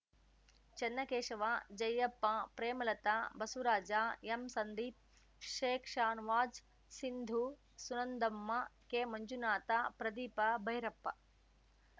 Channakeshava Jayappa Premalatha Basavaraj ಎಂಸಂದೀಪ್‌ ಶೇಖ್‌ಶಾನವಾಜ್‌ Sindhu Sunandamma K Manjunath Pradeep Bhyrappa